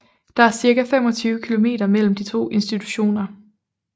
Der er cirka 25 kilometer mellem de to institutioner